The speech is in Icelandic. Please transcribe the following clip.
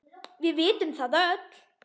Við vitum það öll.